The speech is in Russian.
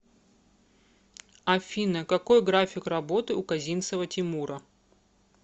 афина какой график работы у козинцева тимура